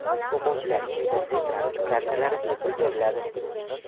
o‘quvchilarga imtiyozli transport kartalari bepul beriladi.